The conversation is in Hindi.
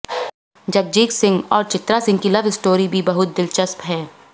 जगजीत सिंह और चित्रा सिंह की लव स्टोरी भी बहुत दिलचस्प है